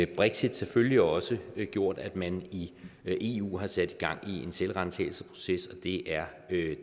brexit selvfølgelig også gjort at man i i eu har sat gang i en selvransagelsesproces og det er